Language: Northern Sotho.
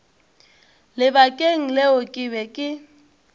lebakeng leo ke be ke